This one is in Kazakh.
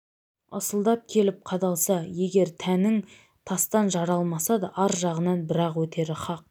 ысылдап келіп қадалса егер тәнің тастан жаралмаса ар жағынан бір-ақ өтері хақ